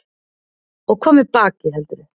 Og hvað með bakið, heldurðu?